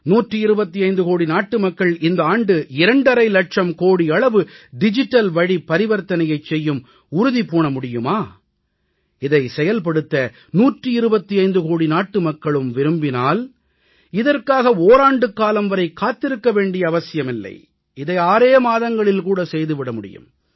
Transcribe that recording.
125 கோடி நாட்டுமக்கள் இந்த ஆண்டு 2 ½ இலட்சம் கோடி அளவு டிஜிட்டல்வழி பரிவர்த்தனையைச் செய்யும் உறுதி பூண முடியுமா இதை செயல்படுத்த 125 கோடி நாட்டுமக்களும் விரும்பினால் இதற்காக ஓராண்டுக்காலம் வரை காத்திருக்க வேண்டிய அவசியம் இல்லை இதை ஆறே மாதங்களில் கூட செய்து விட முடியும்